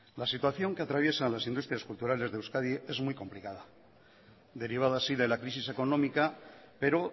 la situación que atraviesan las industrias culturales de euskadi es muy complicada derivada así de la crisis económica pero